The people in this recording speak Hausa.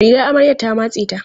Rigar amaryan ta matse ta.